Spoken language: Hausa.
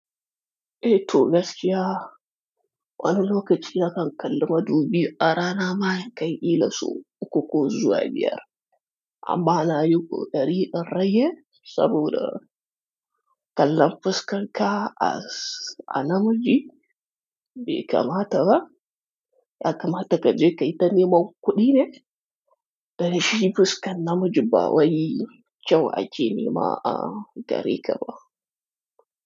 Eh toh gaskiya, wani lokaci nakan kalla madubi, arana ma ya kai ila sau uku ko zuwa biyar. Amma zanyi kokari in rage saboda kallon fuskan ka a, a madubi bai kamata ba. Ya kamata ka je ka yi ta nema kuɗi ne, dan shi fuskan namiji ba wayi kyau a ke nema a gare ka ba.